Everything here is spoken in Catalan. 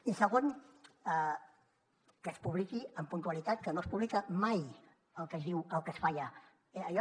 i segon que es publiqui amb puntualitat que no es publica mai el que es diu el que es fa allà